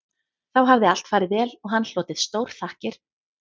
Þá hafði allt farið vel og hann hlotið stórþakkir